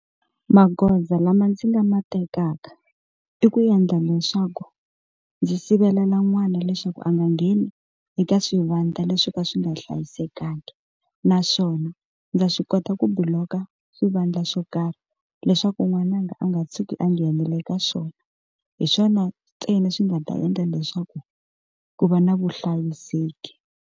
Magoza lama ndzi nga ma tekaka i ku endla leswaku ndzi sivelela n'wana leswaku a nga ngheni eka swivandla leswi swo ka swi nga hlayisekanga naswona ndza swi kota ku block-a xivandla xo karhi leswaku n'wananga a nga tshuki a nghenele ka swona hi swona ntsena swi nga ta endla leswaku ku va na vuhlayiseki.